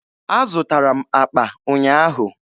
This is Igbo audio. Azụtara m akpa ụnyaahụ.